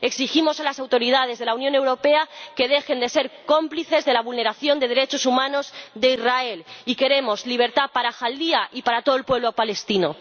Exigimos a las autoridades de la Unión Europea que dejen de ser cómplices de la vulneración de derechos humanos de Israel, y queremos libertad para Jaldía y para todo el pueblo palestino.